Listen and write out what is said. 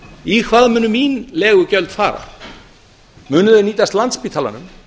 í hvað munu mín legugjöld fara munu þau nýtast landspítalanum